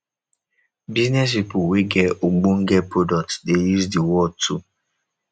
business pipo wey get ogbonge products de use di word too